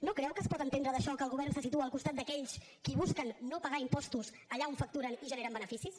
no creu que es pot entendre d’això que el govern se situa al costat d’aquells qui busquen no pagar impostos allà on facturen i generen beneficis